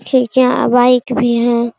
ठीक हैं बाइक भी हैं ।